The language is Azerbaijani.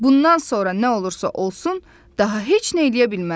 Bundan sonra nə olursa olsun, daha heç nə eləyə bilmərəm.